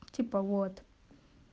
типа вот